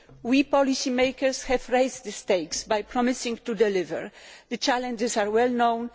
We policy makers have raised the stakes by promising to deliver. The challenges are well known